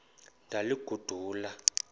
ndaliguqula